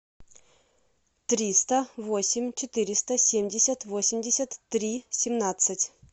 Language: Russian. триста восемь четыреста семьдесят восемьдесят три семнадцать